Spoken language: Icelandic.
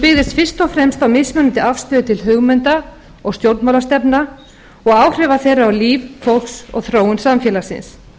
hún byggðist fyrst og fremst á mismunandi afstöðu til hugmynda og stjórnmálastefna og áhrifa þeirra á líf fólks og þróun samfélagsins